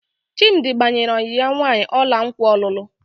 Chimdi gbanyere ọyị ya nwaanyị ọla nkwa ọlụlụ.